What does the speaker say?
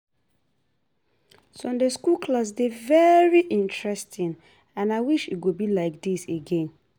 Sunday school class dey very interesting and I wish e go be like dis again